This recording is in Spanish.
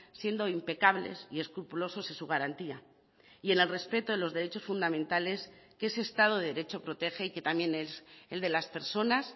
siendo impecables y escrupulosos en su garantía y en el respeto de los derechos fundamentales que ese estado de derecho protege y que también es el de las personas